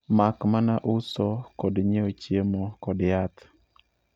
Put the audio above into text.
mak mana uso kod nyiewo chiemo kod yath.